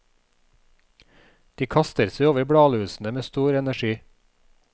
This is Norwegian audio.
De kaster seg over bladlusene med stor energi.